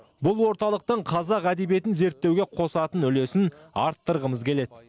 бұл орталықтың қазақ әдебиетін зерттеуге қосатын үлесін арттырғымыз келеді